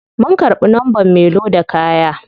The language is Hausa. Mun karbi numbern me loda kaya.